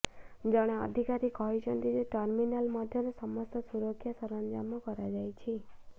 ଜଣେ ଅଧିକାରୀ କହିଛନ୍ତି ଯେ ଟର୍ମିନାଲ ମଧ୍ୟରେ ସମସ୍ତ ସୁରକ୍ଷା ସରଞ୍ଜାମ କରାଯାଇଛି